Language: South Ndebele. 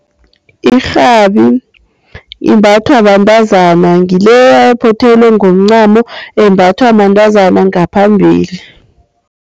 Irhabi imbathwa bantazana, ngileya ephothelwe ngomncamo embathwa bantazana ngaphambili.